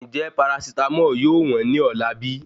Njẹ parasitámọ̀ yóò wọn ní ọ̀la bí?